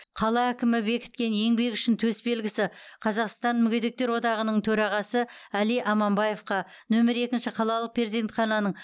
қала әкімі бекіткен еңбегі үшін төсбелгісі қазақстан мүгедектер одағының төрағасы әли аманбаевқа нөмір екінші қалалық перзентхананың